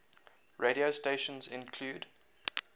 radio stations include